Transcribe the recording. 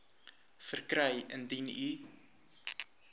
verkry indien u